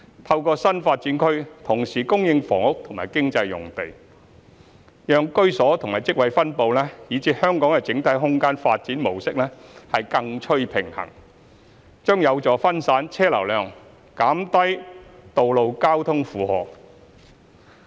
透過新發展區同時供應房屋和經濟用地，讓居所與職位分布以至香港的整體空間發展模式更趨平衡，將有助分散車流量，減低道路交通負荷。